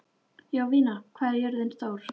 Jovina, hvað er jörðin stór?